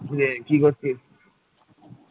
কিরে কি করছিস?